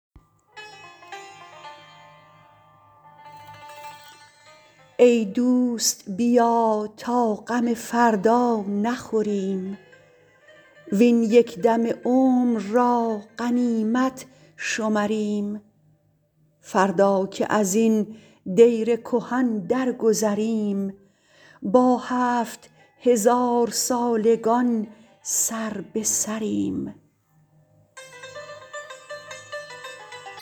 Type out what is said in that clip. ای دوست بیا تا غم فردا نخوریم وین یک دم عمر را غنیمت شمریم فردا که ازین دیر کهن درگذریم با هفت هزارسالگان سر به سریم